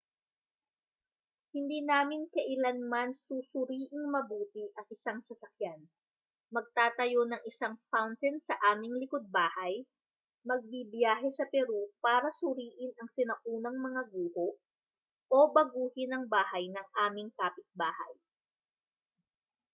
hindi namin kailanman susuriing mabuti ang isang sasakyan magtatayo ng isang fountain sa aming likod-bahay magbibiyahe sa peru para suriin ang sinaunang mga guho o baguhin ang bahay ng aming kapitbahay